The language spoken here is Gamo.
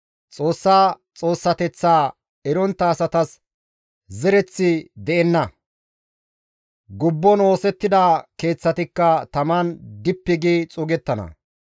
Xoossa Xoossateththa erontta asatas zereththi de7enna; gubbon oosettida keeththatikka taman dippi gi xuugettana.